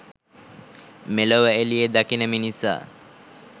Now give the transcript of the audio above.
මෙලොව එළිය දකින මිනිසා